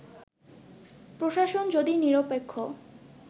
প্রশাসন যদি নিরপেক্ষ